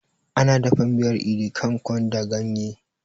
Ana dafa miyar idi kan kon da ganye